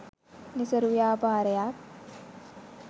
නිසරු ව්‍යාපාරයක්